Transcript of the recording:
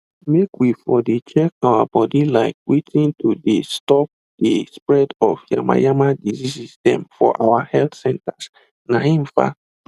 make we for de check our body like watin to de stop de spread of yamayama diseases them for our health centersna him fa